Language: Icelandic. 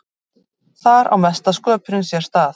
Þar á mesta sköpunin sér stað.